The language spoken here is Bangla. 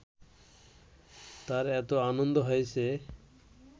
তার এত আনন্দ হয়েছে